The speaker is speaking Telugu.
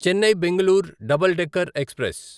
Chennai Bengaluru double decker express